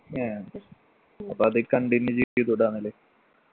ഏഹ് അപ്പൊ അത് continue ചെയ്തൂടെ എന്നാല്